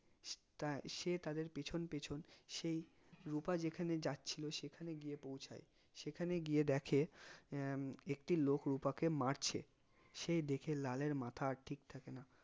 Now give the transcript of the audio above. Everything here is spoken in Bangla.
সে তাদের পেছন পেছন সেই রুপা যেখানে যাচ্ছিলো সেখানে গিয়ে পৌঁছায় সেখানে গিয়ে দেখে আহ একটি লোক রুপাকে মারছে সেই দেখে লালের মাথা আর ঠিক থাকে না